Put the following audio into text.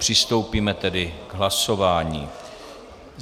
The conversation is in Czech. Přistoupíme tedy k hlasování.